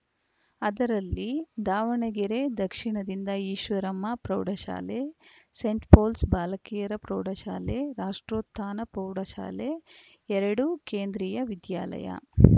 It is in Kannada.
ಅದರಲ್ಲಿ ದಾವಣಗೆರೆ ದಕ್ಷಿಣದಿಂದ ಈಶ್ವರಮ್ಮ ಪ್ರೌಢಶಾಲೆ ಸೇಂಟ್‌ಪೌಲ್ಸ್‌ ಬಾಲಕಿಯರ ಪ್ರೌಢಶಾಲೆ ರಾಷ್ಟೋತ್ಥಾನ ಪ್ರೌಢಶಾಲೆ ಎರಡು ಕೇಂದ್ರಿಯ ವಿದ್ಯಾಲಯ